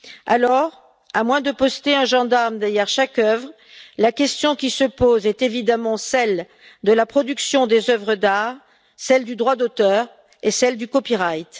Alors, à moins de poster un gendarme derrière chaque œuvre, la question qui se pose est évidemment celle de la production des œuvres d'art, celle du droit d'auteur et celle du Copyright.